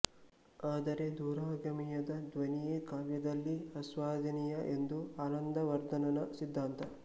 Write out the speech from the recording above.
ಆದರೆ ದೂರಗಾಮಿಯಾದ ಧ್ವನಿಯೇ ಕಾವ್ಯದಲ್ಲಿ ಆಸ್ವಾದನೀಯ ಎಂದು ಆನಂದವರ್ಧನನ ಸಿದ್ಧಾಂತ